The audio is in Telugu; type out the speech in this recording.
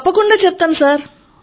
తప్పకుండా చెప్తాను సర్